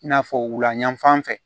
I n'a fɔ wulayanfan fɛ